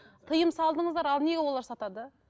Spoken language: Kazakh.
тиым салдыңыздар ал неге олар сатады